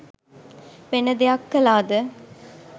වෙන දෙයක් කළාද?